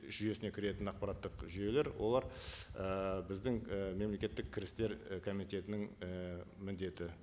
жүйесіне кіретін ақпараттық жүйелер олар ііі біздің і мемлекеттік кірістер і комитетінің і міндеті